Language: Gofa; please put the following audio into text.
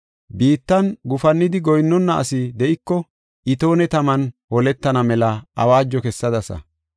biittan gufannidi goyinnona asi de7iko, itoone taman holetana mela awaajo kessadasa.